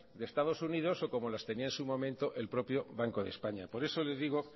de estados unidos o como las tenía en su momento el propio banco de españa por eso le digo